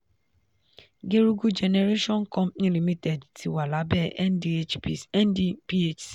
gerugu generation company limited ti wà lábẹ́ ndphc.